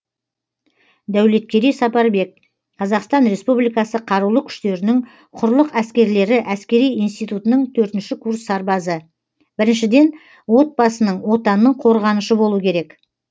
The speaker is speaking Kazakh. дәулеткерей сапарбек қазақстан республикасы қарулы күштерінің құрлық әскерлері әскери институтының төртінші курс сарбазы біріншіден отбасының отанның қорғанышы болу керек